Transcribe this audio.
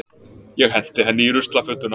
Ég henti henni í ruslafötuna.